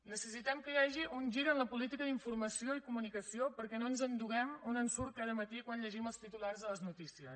necessitem que hi hagi un gir en la política d’informació i comunicació perquè no ens enduguem un ensurt cada matí quan llegim els titulars de les notícies